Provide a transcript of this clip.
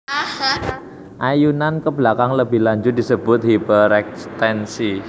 Ayunan ke belakang lebih lanjut disebut hiperekstensi